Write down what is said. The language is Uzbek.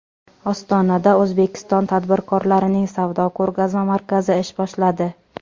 Ostonada O‘zbekiston tadbirkorlarining savdo-ko‘rgazma markazi ish boshladi.